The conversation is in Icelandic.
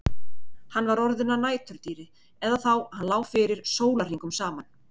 Hann var orðinn að næturdýri eða þá að hann lá fyrir sólarhringum saman.